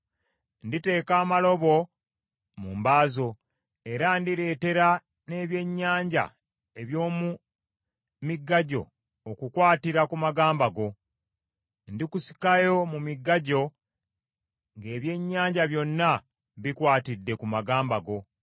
Nditeeka amalobo mu mba zo, era ndireetera n’ebyennyanja eby’omu migga gyo okukwatira ku magamba go. Ndikusikayo mu migga gyo ng’ebyennyanja byonna bikwatidde ku magamba go.